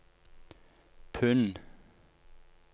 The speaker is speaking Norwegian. pund